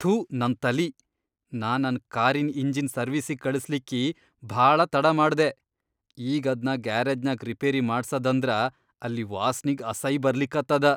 ಥೂ ನನ್ ತಲಿ, ನಾ ನನ್ ಕಾರಿನ್ ಇಂಜಿನ್ ಸರ್ವೀಸಿಗ್ ಕಳಸ್ಲಿಕ್ಕಿ ಭಾಳ ತಡಾ ಮಾಡ್ದೆ, ಈಗ್ ಅದ್ನ ಗ್ಯಾರೇಜ್ನ್ಯಾಗ್ ರಿಪೇರಿ ಮಾಡ್ಸದಂದ್ರ ಅಲ್ಲಿ ವಾಸ್ನಿಗ್ ಅಸೈ ಬರ್ಲಿಕತ್ತದ.